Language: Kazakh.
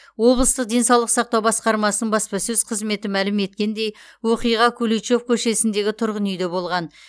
облыстық денсаулық сақтау басқармасын баспасөз қызметі мәлім еткендей оқиға куличев көшесіндегі тұрғын үйде болған